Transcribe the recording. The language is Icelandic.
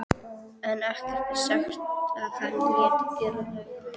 en ekkert er sagt um að hann léti gera laug.